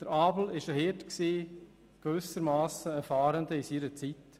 Abel war Hirte und gewissermassen ein Fahrender seiner Zeit.